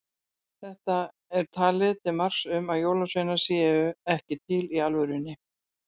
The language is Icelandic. Þetta er talið til marks um að jólasveinar séu ekki til í alvörunni.